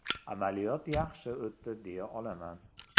Amaliyot yaxshi o‘tdi deya olaman.